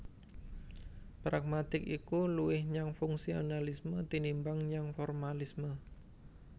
Pragmatik iku luwih nyang fungsionalisme tinimbang nyang formalisme